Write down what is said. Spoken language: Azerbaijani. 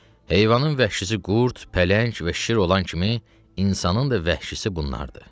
Heyvanın vəhşisi qurd, pələng və şir olan kimi, insanın da vəhşisi bunlardır.